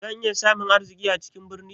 Zan iya samun arziki a cikin birni?